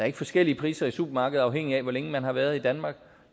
ikke forskellige priser i supermarkedet afhængigt af hvor længe man har været i danmark